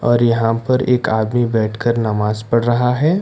और यहां पर एक आदमी बैठकर नमाज पढ़ रहा है।